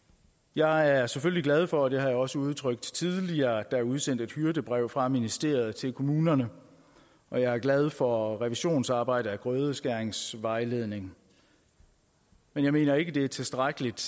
jeg er selvfølgelig glad for og det også udtrykt tidligere at der er udsendt et hyrdebrev fra ministeriet til kommunerne og jeg er glad for revisionsarbejdet af grødeskæringsvejledningen men jeg mener ikke at det er tilstrækkeligt